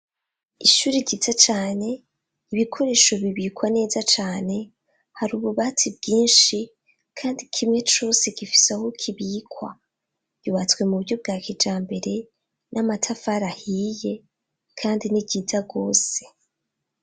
Ishuri ryiza cane ibikoresho bibikwa neza cane, hari ububati bwinshi, kandi kimwe cose gifise aho kibikwa, yubatswe mu buryo bwa kijambere n'amatafari ahiye kandi ni ryiza gose.